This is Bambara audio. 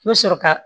I bɛ sɔrɔ ka